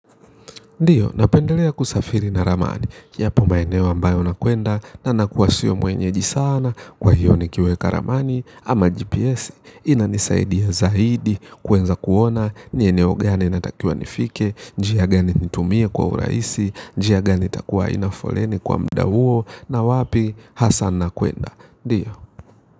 Ndiyo, napendelea kusafiri na ramani, yapo maeneo ambayo nakwenda, na nakuwa siyo mwenyeji sana, kwa hiyo ni kiweka ramani, ama GPS, inanisaidia zaidi, kwenza kuona, nieneo gani natakiwa nifike, jia gani nitumie kwa uraisi, jia gani takuwa inafoleni kwa mda uo, na wapi, hasa nna kwenda. Ndiyo.